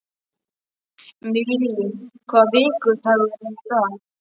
Millý, hvaða vikudagur er í dag?